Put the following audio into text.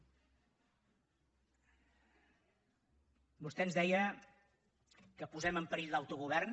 vostè ens deia que posem en perill l’autogovern